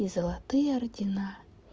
и золотые ордена